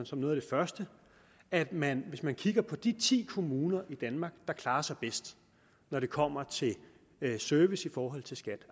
som noget af det første at man hvis man kigger på de ti kommuner i danmark der klarer sig bedst når det kommer til service i forhold til skat